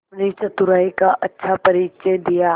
अपनी चतुराई का अच्छा परिचय दिया